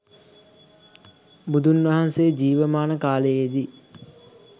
බුදුන් වහන්සේ ජීවමාන කාලයේදී